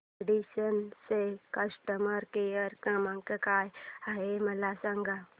Radisson चा customer care क्रमांक काय आहे मला सांगा